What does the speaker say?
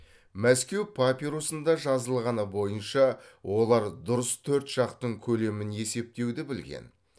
мәскеу папирусында жазылғаны бойынша олар дұрыс төрт жақтың көлемін есептеуді білген